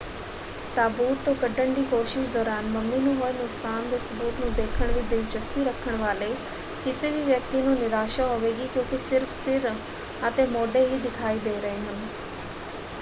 ਤਾਬੂਤ ਤੋਂ ਕੱਢਣ ਦੀ ਕੋਸ਼ਿਸ਼ ਦੌਰਾਨ ਮਮੀ ਨੂੰ ਹੋਏ ਨੁਕਸਾਨ ਦੇ ਸਬੂਤ ਨੂੰ ਦੇਖਣ ਵਿੱਚ ਦਿਲਚਸਪੀ ਰੱਖਣ ਵਾਲੇ ਕਿਸੇ ਵੀ ਵਿਅਕਤੀ ਨੂੰ ਨਿਰਾਸ਼ਾ ਹੋਵੇਗੀ ਕਿਉਂਕਿ ਸਿਰਫ਼ ਸਿਰ ਅਤੇ ਮੋਢੇ ਹੀ ਦਿਖਾਈ ਦੇ ਰਹੇ ਹਨ।